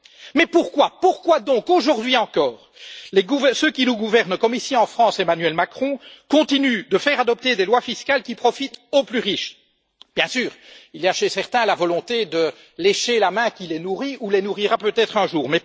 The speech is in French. Mais pourquoi, pourquoi donc, aujourd'hui encore, ceux qui nous gouvernent, comme ici en France, Emmanuel Macron, continuent de faire adopter des lois fiscales qui profitent aux plus riches? Bien sûr, il y a chez certains la volonté de lécher la main qui les nourrit, ou les nourrira peut être un jour.